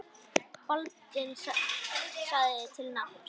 Baldvin sagði til nafns.